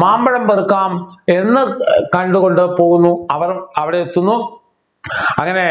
മാമ്പഴം പെറുക്കാം എന്നു ഏർ കണ്ടുകൊണ്ട് പോകുന്നു അവർ അവിടെ എത്തുന്നു അങ്ങനെ